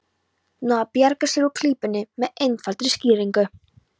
Nú á að bjarga sér úr klípunni með einfaldri skýringu.